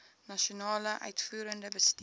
nasionale uitvoerende bestuur